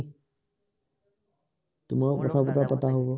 তোমাৰো কথা বতৰা পতা হব